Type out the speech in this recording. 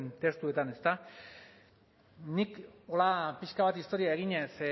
testuetan ezta nik hola pixka bat historia eginez